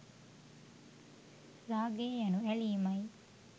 රාගය යනු ඇලීමයි